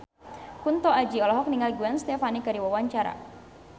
Kunto Aji olohok ningali Gwen Stefani keur diwawancara